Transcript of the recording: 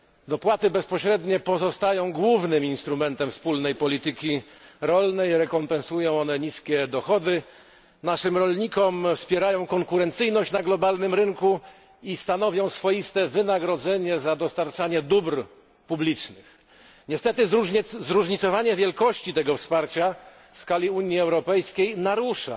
Dopłaty bezpośrednie pozostają głównym instrumentem wspólnej polityki rolnej rekompensują one niskie dochody naszym rolnikom, wspierają konkurencyjność na światowym rynku i stanowią swoiste wynagrodzenie za dostarczanie dóbr publicznych. Niestety, zróżnicowanie wielkości tego wsparcia w skali Unii Europejskiej narusza